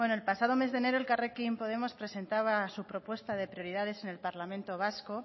bueno el pasado mes de enero elkarrekin podemos presentaba su propuesta de prioridades en el parlamento vasco